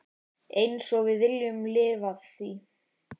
Einsog við viljum lifa því.